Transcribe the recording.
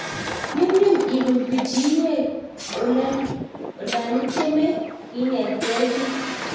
Nyumnyum ipuun pichiinwek olanityemee inetgei kiy